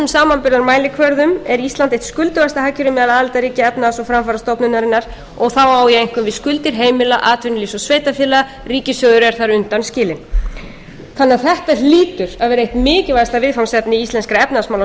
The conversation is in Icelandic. flestum samanburðarmælikvörðum er ísland eitt skuldugasta hagkerfi meðal aðildarríkja efnahags og framfarastofnunarinnar og þá á ég einkum við skuldir heimila atvinnulífs og sveitarfélaga ríkissjóður er þar undanskilinn þetta hlýtur að vera eitt mikilvægasta viðfangsefni íslenskra efnahagsmála að